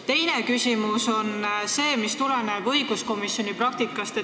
Teine küsimus tuleneb õiguskomisjoni praktikast.